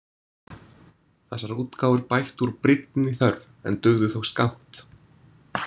Þessar útgáfur bættu úr brýnni þörf, en dugðu þó skammt.